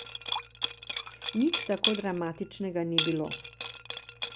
Nič tako dramatičnega ni bilo.